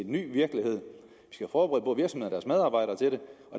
ny virkelighed og